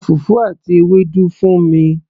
ra fùfú àti Ewédú fún mi